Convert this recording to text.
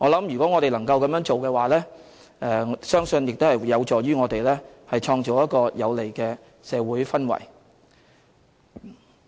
如果我們能夠這樣做的話，相信會有助於創造一個有利的社會氛圍。